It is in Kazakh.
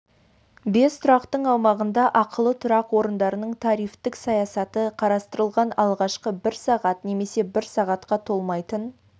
бес тұрақтың аумағында ақылы тұрақ орындарының тарифтік саясаты қарастырылған алғашқы бір сағат немесе бір сағатқа толмайтын